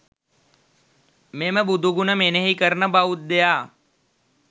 මෙම බුදු ගුණ මෙනෙහි කරන බෞද්ධයා